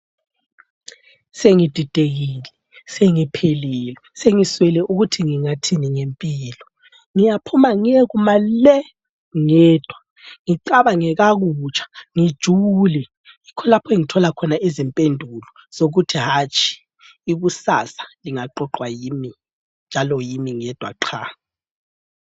Sengididekile sengiphelelwe sengiswele ukuthi ngingathini ngempilo ngiyaphuma ngiyekuma le ngedwa ngicabange kakutsha ngijule yikho lapho engithola khona izimpendulo zokuthi hatshi ikusasa lingaqoqwa yimi njalo yimi ngedwa qha.